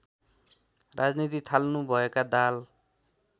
राजनीति थाल्नुभएका दाहाल